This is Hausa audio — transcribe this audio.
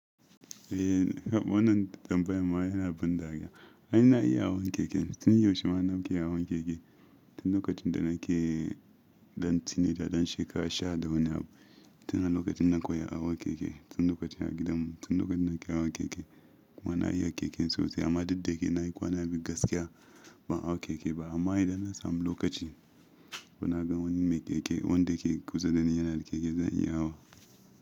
Eh, wannan tambayar ma yana ban dariya. Anyi na iya hawan keke, tun yaushe ma na ke hawan keke. Tun lokacin da nake ɗan tsine, da ɗan shekara sha da hudu na, tun a lokacin na koya hawan keke. Tun lokacin a gidan mu, tun lokacin nake hawan keke. Kuma na iya keken sosai amma duk da yake na yi kwana biyu gaskiya ban hawa keke ba amma idan na sami lokaci ko na ga wani mai keke, wanda ke kusa da ni yana da keke zan iya hawa.